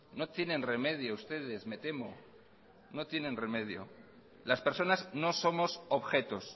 no tienen remedio ustedes me temo no tienen remedio las personas no somos objetos